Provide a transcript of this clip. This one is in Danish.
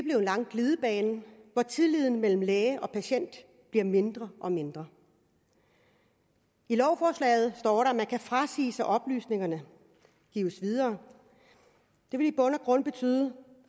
lang glidebane hvor tilliden mellem læge og patient bliver mindre og mindre i lovforslaget står der at man kan frasige sig at oplysningerne gives videre det vil i bund og grund betyde